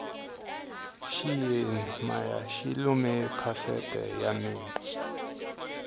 xiyeni maya xi lume kasete ya mina